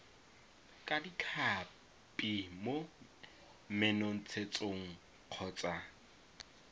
ka ditlhapi mo menontshetsong kgotsa